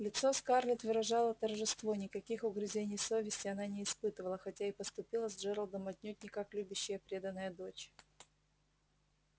лицо скарлетт выражало торжество никаких угрызений совести она не испытывала хотя и поступила с джералдом отнюдь не как любящая преданная дочь